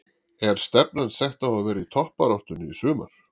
Er stefnan sett á að vera í toppbaráttunni í sumar?